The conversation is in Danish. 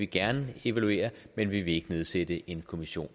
gerne evaluere men vi vil ikke nedsætte en kommission